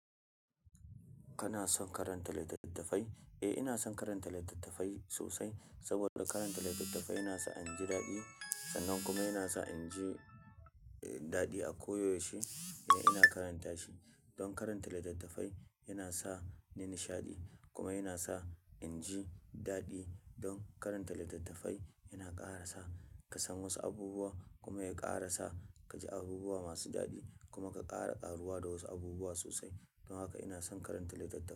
Kana son karanta littattafai? Eh, ina son karanta littattafai sosai. Saboda karanta littattafai yana sa in ji daɗi sannan kuma yana sa in ji, eh, daɗi a koyaushe idan ina karanta shi. Don karanta littattafai yana sa ni nishaɗi kuma yana sa in ji daɗi. Don karanta littattafai yana ƙara sa ka san wasu abubuwa kuma ya ƙara sa ka ji abubuwa masu daɗi kuma ka ƙara ƙaruwa da wasu abubuwa sosai. Don haka ina son karanta littattafai.